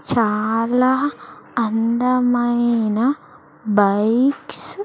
చాలా అందమైన బైక్స్ --